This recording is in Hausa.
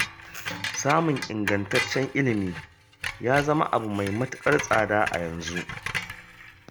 Samun ingantaccen ilimi ya zama abu mai matuƙar tsada a yanzu